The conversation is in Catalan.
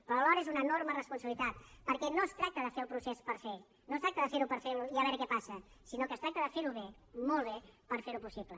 però alhora és una enorme responsabilitat perquè no es tracta de fer el procés per fer no es tracta de ferho per fer i a veure què passa sinó que es tracta de ferho bé molt bé per ferho possible